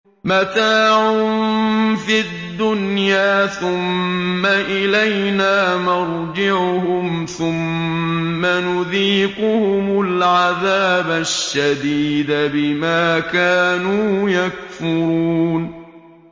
مَتَاعٌ فِي الدُّنْيَا ثُمَّ إِلَيْنَا مَرْجِعُهُمْ ثُمَّ نُذِيقُهُمُ الْعَذَابَ الشَّدِيدَ بِمَا كَانُوا يَكْفُرُونَ